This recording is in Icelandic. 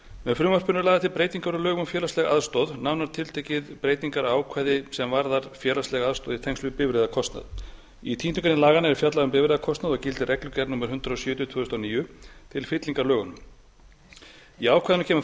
með frumvarpinu eru lagðar til breytingar á lögum um félagslega aðstoð nánar tiltekið breytingar á ákvæði sem varðar félagslega aðstoð í tengslum við bifreiðakostnað í tíundu grein laganna er fjallað um bifreiðakostnað og gildir reglugerð númer hundrað sjötíu tvö þúsund og níu til fyllingar lögunum í ákvæðinu kemur